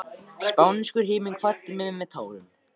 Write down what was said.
Spánskur himinn kvaddi mig með tárum.